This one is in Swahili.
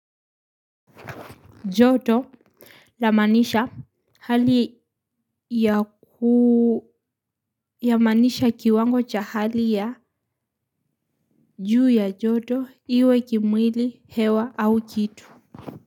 Joto lamaanisha hali ya yamaanisha kiwango cha hali ya juu ya joto iwe kimwili hewa au kitu.